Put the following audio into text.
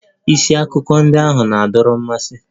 Isi akụkọ ndị ahụ na-adọrọ mmasị.